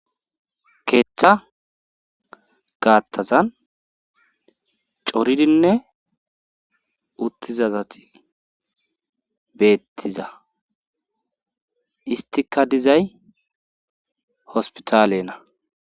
Keeththa gaattazan coridinne uttiza asati beettiza istika dizay hospitaalenna.